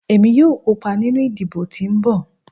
Emi yoo kopa ninu idibo ti nbọ